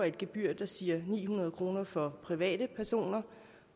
et gebyr der siger ni hundrede kroner for private personer